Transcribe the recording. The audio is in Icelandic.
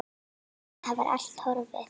Það var allt horfið!